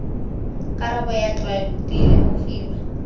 karabo ya tlwaelo di lemogiwa